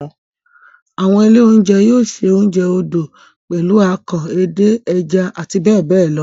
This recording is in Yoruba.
Àwọn ilé-oúnjẹ yóò se oúnjẹ odò pẹ̀lú akàn, edé, ẹja àti bẹ́ẹ̀ bẹ́ẹ̀ lọ.